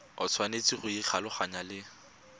o tshwanetse go ikgolaganya le